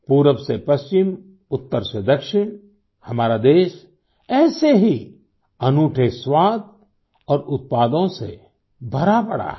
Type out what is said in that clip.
पूरब से पश्चिम उत्तर से दक्षिण हमारा देश ऐसे ही अनूठे स्वाद और उत्पादों से भरा पड़ा है